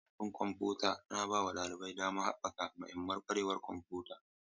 Lab ɗin kwamfuta yana bawa ɗalibai damar haɓaka mahimman ƙwarewar kwamfuta.